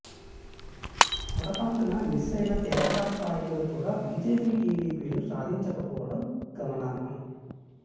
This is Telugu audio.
పొరపాటున మిస్ అయిన తెరాస స్థాయిలో కూడా బీజేపీ టీడీపీలు సాధించకపోవడం గమనార్హం